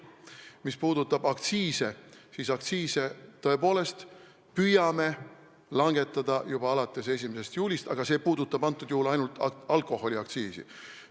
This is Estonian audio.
Mis puudutab aktsiise, siis me tõepoolest püüame langetada juba alates 1. juulist, aga see puudutab ainult alkoholiaktsiisi.